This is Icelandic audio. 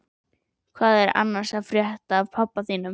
Hvað er annars að frétta af pabba þínum?